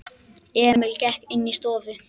Emil gekk inní stofu.